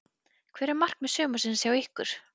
Hver eru markmið sumarsins hjá ykkur?